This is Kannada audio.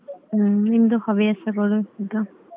ಹ್ಮ್ ನಿಮ್ದು ಹವ್ಯಾಸಗಳು ಎಂತ?